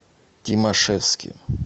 тимашевске